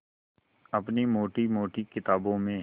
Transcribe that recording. अपनी मोटी मोटी किताबों में